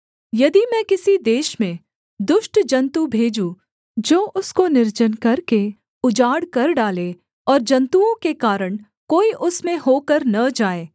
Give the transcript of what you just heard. यदि मैं किसी देश में दुष्ट जन्तु भेजूँ जो उसको निर्जन करके उजाड़ कर डालें और जन्तुओं के कारण कोई उसमें होकर न जाएँ